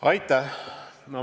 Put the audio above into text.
Aitäh!